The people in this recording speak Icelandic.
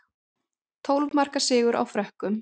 Tólf marka sigur á Frökkum